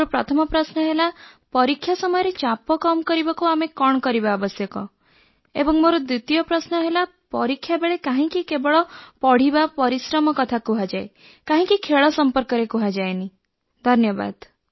ମୋର ପ୍ରଥମ ପ୍ରଶ୍ନ ହେଲା ପରୀକ୍ଷା ସମୟର ଚାପ କମ୍ କରିବାକୁ ଆମେ କଣ କରିବା ଆବଶ୍ୟକ ଏବଂ ଦ୍ୱିତୀୟ ପ୍ରଶ୍ନଟି ହେଲା ପରୀକ୍ଷାବେଳେ କାହିଁକି କେବଳ ପଢ଼ିବା ପରିଶ୍ରମ କଥା କୁହାଯାଏ କାହିଁକି ଖେଳ ସଂପର୍କରେ କୁହାଯାଏନି ଧନ୍ୟବାଦ